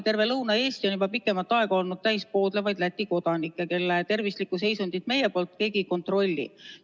Terve Lõuna-Eesti on juba pikemat aega olnud täis poodlevaid Läti kodanikke, kelle tervislikku seisundit meie poolel keegi ei kontrolli.